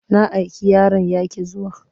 Na aiki yaron ya ƙi zuwa.